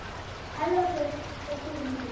Elva Björk og Guðrún Dís.